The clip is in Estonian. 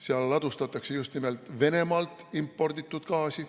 Seal ladustatakse just nimelt Venemaalt imporditud gaasi.